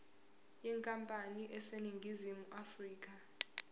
yenkampani eseningizimu afrika